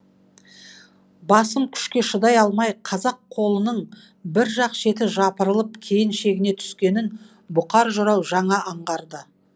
басым күшке шыдай алмай қазақ қолының бір жақ шеті жапырылып кейін шегіне түскенін бұқар жырау жаңа аңғарды